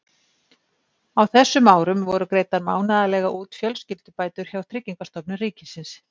Á þessum árum voru greiddar mánaðarlega út fjölskyldubætur hjá Tryggingastofnun ríkisins.